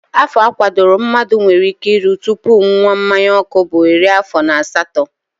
Afọ a kwadoro mmadụ nwere ike iru tupu ṅụwa mmanyaọkụ bụ iri afọ na asatọ